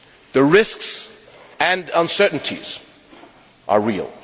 The risks and uncertainties are real.